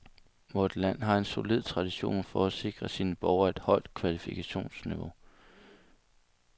Vort land har en solid tradition for at sikre sine borgere et højt kvalifikationsniveau.